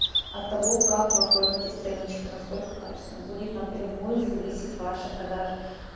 от того как вы оформите страничку насколько качественно будет напрямую зависеть ваша продажа